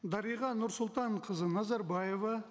дариға нұрсұлтанқызы назарбаева